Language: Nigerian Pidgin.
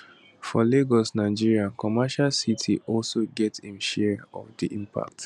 for lagos nigeria commercial city also get im share of di impact